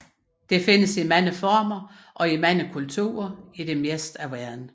Det findes i mange former og i mange kulturer i det meste af verden